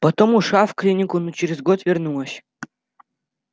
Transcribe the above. потом ушла в клинику но через год вернулась